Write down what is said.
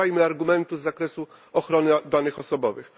Nie używajmy argumentu z zakresu ochrony danych osobowych.